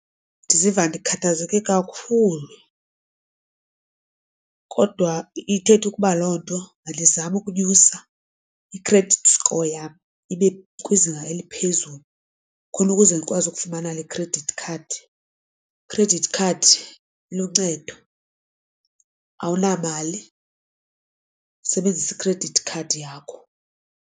Ndiziva ndikhathazeke kakhulu kodwa ithetha ukuba loo nto mandizame ukunyusa i-credit score yabo ibe kwizinga eliphezulu khona ukuze ndikwazi ukufumana le credit card. i-credit card iluncedo awunamali usebenzisa i-credit card yakho.